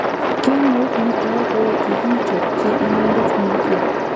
Kemout netai ko kokichopchi inendet malkia